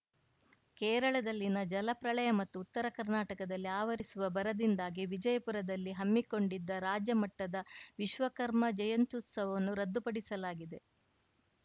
ಕೇರಳದಲ್ಲಿನ ಜಲ ಪ್ರಳಯ ಮತ್ತು ಉತ್ತರ ಕರ್ನಾಟಕದಲ್ಲಿ ಆವರಿಸಿರುವ ಬರದಿಂದಾಗಿ ವಿಜಯಪುರದಲ್ಲಿ ಹಮ್ಮಿಕೊಂಡಿದ್ದ ರಾಜ್ಯಮಟ್ಟದ ವಿಶ್ವಕರ್ಮ ಜಯಂತ್ಯುತ್ಸವವನ್ನು ರದ್ದುಪಡಿಸಲಾಗಿದೆ